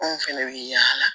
Anw fɛnɛ bɛ yaala